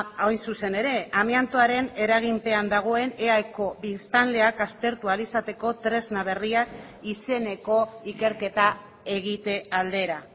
hain zuzen ere amiantoaren eraginpean dagoen eaeko biztanleak aztertu ahal izateko tresna berriak izeneko ikerketa egite aldera